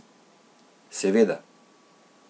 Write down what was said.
Seveda.